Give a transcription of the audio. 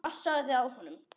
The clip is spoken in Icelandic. Passaðu þig á honum.